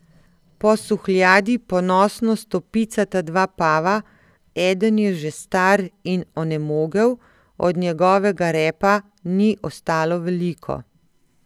Po suhljadi ponosno stopicata dva pava, eden je že star in onemogel, od njegovega repa ni ostalo veliko.